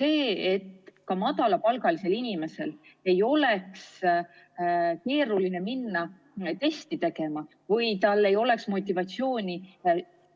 et ka madalapalgalisel inimesel ei oleks keeruline minna testi tegema või et tal ei oleks motivatsiooni